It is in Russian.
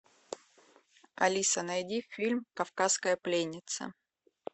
алиса найди фильм кавказская пленница